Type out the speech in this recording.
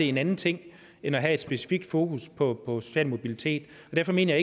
en anden ting end at have et specifikt fokus på social mobilitet og derfor mener